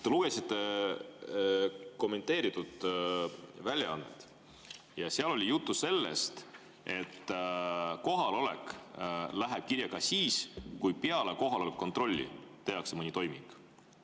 Te lugesite kommenteeritud väljaannet ja seal oli juttu sellest, et kohalolek läheb kirja ka siis, kui peale kohaloleku kontrolli tehakse mõni toiming.